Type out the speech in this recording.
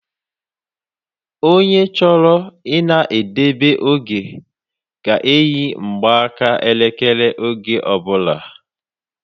Ònye chọrọ I na edebe oge ga eyi mgbaka elekere oge ọbula